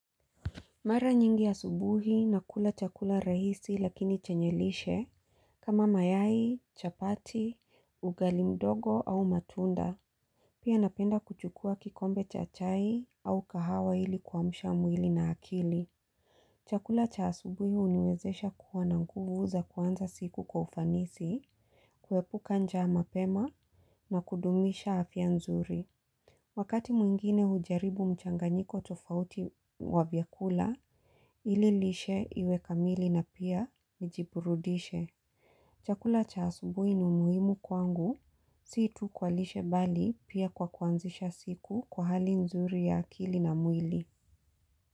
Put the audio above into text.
Mara nyingi asubuhi na kula chakula rahisi lakini chenye lishe kama mayai, chapati, ugali mdogo au matunda. Pia napenda kuchukua kikombe cha chai au kahawa ili kuamsha mwili na akili. Chakula cha asubuhi huniwezesha kuwananguvu za kuanza siku kwa ufanisi, kuepuka njaa mapema na kudumisha afya nzuri. Wakati mwingine hujaribu mchanganyiko tofauti wa vyakula, ililishe iwe kamili na pia mjiburudishe. Chakula cha asubuhi ni muhimu kwangu, si tu kwalishe bali pia kwa kuanzisha siku kwa hali nzuri ya akili na mwili.